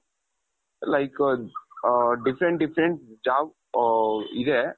like different different jobs ಇದೆ .